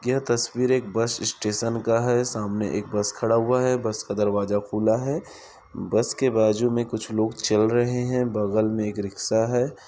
यह तस्वीर एक बस स्टेशन का है सामने एक बस खड़ा हुआ है बस का दरवाजा खुला है बस के बाजू मे कुछ लोग चल रहे है बगल में एक रिक्सा है।